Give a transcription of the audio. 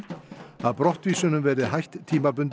að brottvísunum verði hætt tímabundið